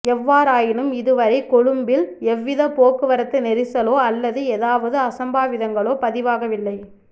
எவ்வாறாயினும் இதுவரை கொழும்பில் எவ்வித போக்குவரத்து நெரிசலோ அல்லது ஏதாவது அசம்பாவிதங்களோ பதிவாகவில்லை